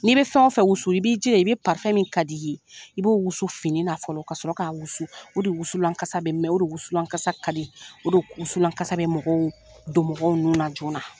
N'i bɛ fɛn o fɛn wusu, i b'i jija, i bɛ min ka di i ye, i b'o wusu fini na fɔlɔ, ka sɔrɔ k'a wusu, o de wusulankasa mɛn, o de wusulankasa ka di, o de wusulankasa bɛ mɔgɔw, don mɔgɔ nun na joona.